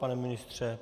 Pane ministře?